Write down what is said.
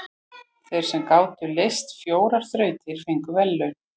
Þeir sem gátu leyst fjórar þrautir fengu verðlaun.